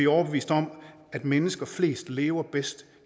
overbeviste om at mennesker flest lever bedst